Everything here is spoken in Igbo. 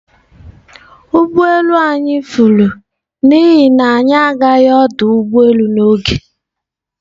Ụgbọ elu anyị furu n'ihi na anyị gara ọdụ ụgbọ elu n'oge.